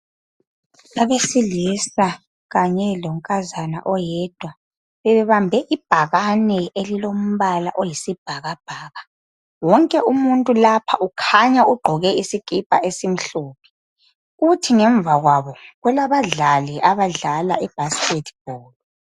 Abesilisa kanye lonkazana oyedwa, bebebambe ibhakane elilombala oyisibhakabhaka. Wonke umuntu lapha ukhanya ugqoke isikipa esimhlophe. Kuthi ngemva kwabo kulabadlali abadlala ibaskethibholu.